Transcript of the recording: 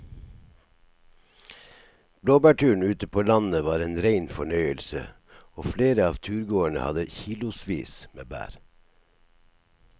Blåbærturen ute på landet var en rein fornøyelse og flere av turgåerene hadde kilosvis med bær.